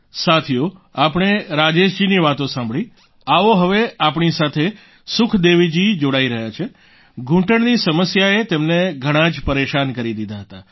સાથીઓ આપણે રાજેશજીની વાતો સાંભળી આવો હવે આપણી સાથે સુખદેવીજી જોડાઈ રહ્યા છે ઘૂંટણની સમસ્યાએ તેમને ઘણાં જ પરેશાન કરી દીધા હતા